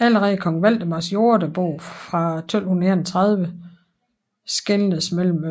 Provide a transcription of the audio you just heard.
Allerede i Kong Valdemars jordebog fra 1231 skelnedes mellem